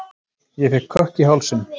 Ég fékk kökk í hálsinn.